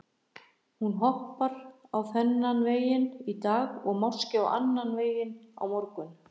Hún skoppar á þennan veginn í dag og máski á annan veg á morgun.